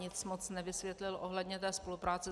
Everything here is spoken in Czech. Nic moc nevysvětlil ohledně té spolupráce.